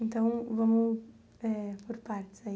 Então, vamos eh por partes aí.